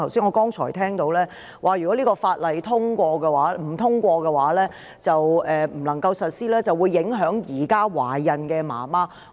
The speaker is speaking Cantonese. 我剛才聽到，他說道如果《條例草案》因無法獲得通過而不能實施，便會影響現時懷孕的母親。